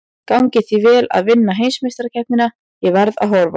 Gangi þér vel að vinna heimsmeistarakeppnina, ég verð að horfa.